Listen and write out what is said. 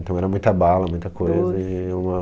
Então era muita bala, muita coisa e uma